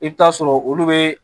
I bɛ taa sɔrɔ olu bɛ